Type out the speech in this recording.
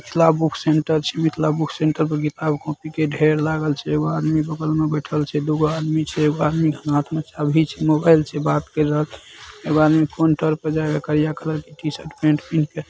Mithila book centre छै Mithila book centre किताब copy के ढेर लागल छै एगो आदमी बगल में बैठल छै दू गो आदमी छै एगो आदमी के हाथ में चाभी छै मोबाइल छै बात कर रहल छै एगो आदमी काउंटर पर जेक करिया कलर के टीशर्ट पेंट पीहीन के।